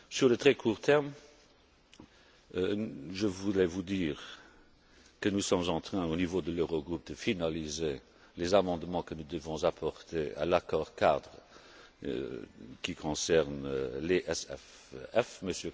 Sur le très court terme, je voulais vous dire que nous sommes en train, au niveau de l'Eurogroupe de finaliser les amendements que nous devons apporter à l'accord cadre qui concerne l'EFSF.